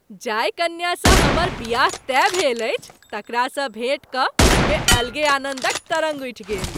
जाहि कन्या सँ हमर बियाह तय भेल अछि तकरासँ भेट कऽ मनमे अलगे आनन्दक तरङ्ग उठि गेल।